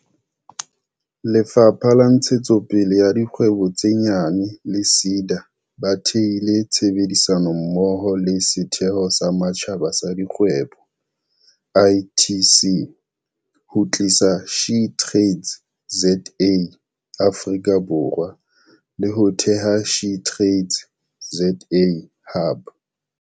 Lefapha la Ntshetsopele ya Dikgwebo tse Nyane le SEDA ba thehile tshebedisano mmoho le Setheo sa Matjhaba sa Dikgwebo, ITC, ho tlisa SheTradesZA Afrika Borwa, le ho theha SheTradesZA Hub.